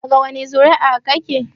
Daga wani zuri'a kake?